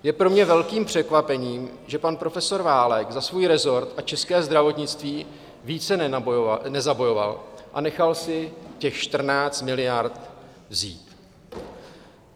Je pro mě velkým překvapením, že pan profesor Válek za svůj resort a české zdravotnictví více nezabojoval a nechal si těch 14 miliard vzít.